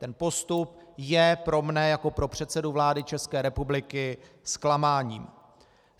Tento postup je pro mne jako pro předsedu vlády České republiky zklamáním.